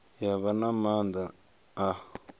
ya vha na maanḓa a